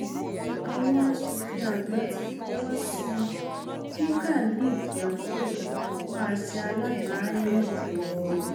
àwọn aṣòfin àgbà ti fọwọ sí i kí khalid yakub máa ṣe alága inec lọ